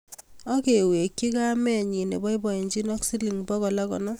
Akewekchi kamenyi neboiboichini ak siling bogol ak konom